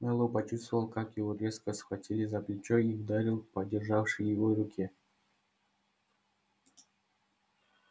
мэллоу почувствовал как его резко схватили за плечо и ударил по державшей его руке